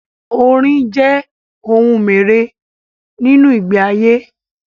Orín jẹ́ ohun mère nínú ìgbé ayé.